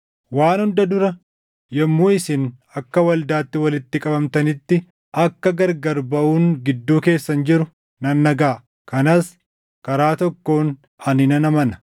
Waan hunda dura, yommuu isin akka waldaatti walitti qabamtanitti akka gargar baʼuun gidduu keessan jiru nan dhagaʼa; kanas karaa tokkoon ani nan amana.